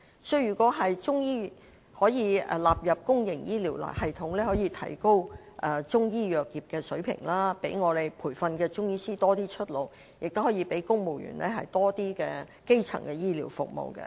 所以，如果中醫藥可以納入公營醫療系統，除了可提高中醫藥業的水平，讓受培訓的中醫師有較多出路外，亦可讓公務員有較多基層的醫療服務。